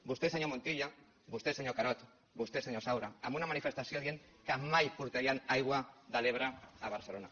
vostè senyor montilla vostè senyor carod vostè senyor saura en una manifestació dient que mai portarien aigua de l’ebre a barcelona